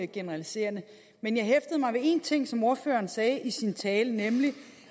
generaliserende men jeg hæftede mig ved en ting som ordføreren sagde i sin tale nemlig